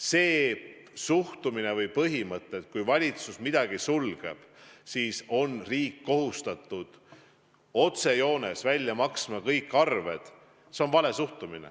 See suhtumine või põhimõte, et kui valitsus midagi sulgeb, siis on riik kohustatud otsejoones kinni maksma kõik arved, on vale.